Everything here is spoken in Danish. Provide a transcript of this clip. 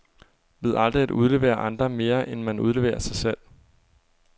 Ved aldrig at udlevere andre, mere end man udleverer sig selv.